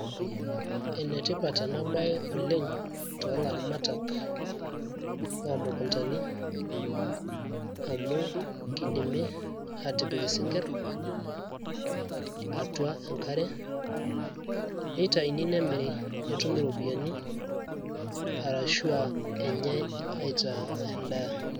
enetipat ena baye oleng toolaramatak loomukuntani amu kidimi aatipik isinkirr atua enkare neitayuni nemiri netumi iropiyiani arashu a enyae aitaa endaa.